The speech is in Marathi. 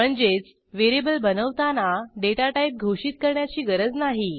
म्हणजेच व्हेरिएबल बनवताना डेटा टाईप घोषित करण्याची गरज नाही